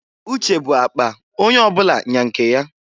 Uche bu akpa onye ọbụla nya nke ya.